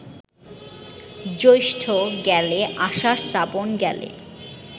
জ্যৈষ্ঠ গেলে, আষাঢ়, শ্রাবণ গেলে